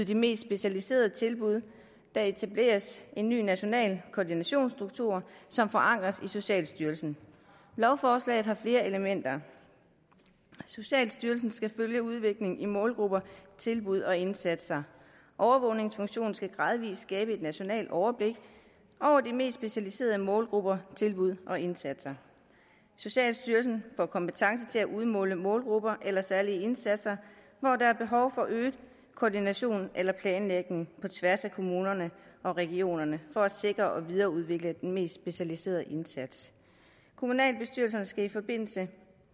de mest specialiserede tilbud og der etableres en ny national koordinationsstruktur som forankres i socialstyrelsen lovforslaget har flere elementer socialstyrelsen skal følge udviklingen i målgrupper tilbud og indsatser overvågningsfunktionen skal gradvis skabe et nationalt overblik over de mest specialiserede målgrupper tilbud og indsatser socialstyrelsen får kompetence til at udmåle målgrupper eller særlige indsatser hvor der er behov for øget koordination eller planlægning på tværs af kommunerne og regionerne for at sikre og videreudvikle den mest specialiserede indsats kommunalbestyrelserne skal i forbindelse